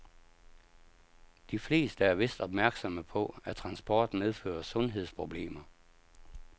De fleste er vist opmærksomme på, at transport medfører sundhedsproblemer.